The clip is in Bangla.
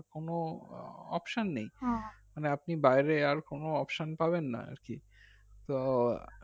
কোনো option নেই মানে আপনি বাইরে আর কোনো options পাবেন এ আর কি তো